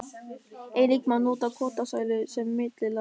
Einnig má nota kotasælu sem millilag.